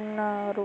ఉన్నారు.